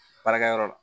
Baarakɛyɔrɔ la